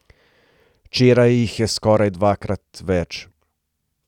Včeraj jih je skoraj dvakrat več.